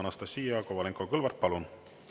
Anastassia Kovalenko-Kõlvart, palun!